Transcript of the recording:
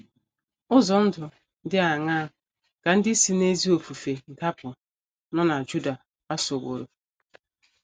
Ụzọ ndụ dị aṅaa ka ndị si n’ezi ofufe dapụ nọ na Juda gbasoworo?